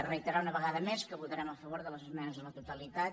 reiterar una vegada més que votarem a favor de les esmenes a la totalitat